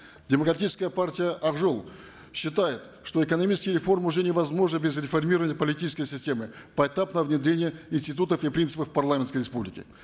демократическая партия ак жол считает что экономические реформы уже невозможны без реформирования политической системы поэтапного внедрения институтов и принципов парламентской республики